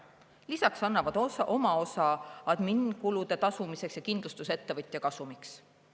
Lisaks annavad oma osa adminkulude tasumiseks ja kindlustusettevõtja kasumiks.